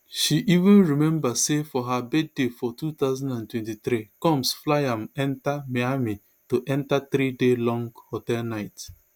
she even remember say for her birthday for two thousand and twenty-three combs fly am enta miami to enta three day long hotel night